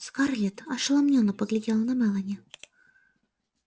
скарлетт ошеломлённо поглядела на мелани